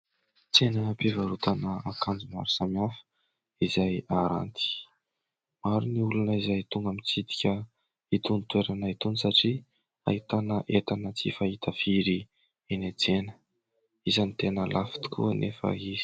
Tsenam-pivarotana akanjo maro samihafa izay aranty. Maro ny olona izay tonga mitsidika itony toerana itony satria ahitana entana tsy fahita firy eny an-tsena. Isany tena lafo tokoa anefa izy.